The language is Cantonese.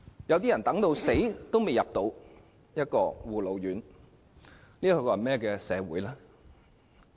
有些人等到去世也未能等到護老院宿位，這是甚麼社會？